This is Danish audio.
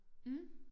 Mh